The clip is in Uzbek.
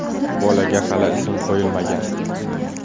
Bolaga hali ism qo‘yilmagan.